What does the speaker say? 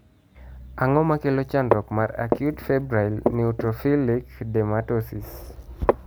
Ang'o makelo chandruok mar acute febrile neutrophilic dermatosis?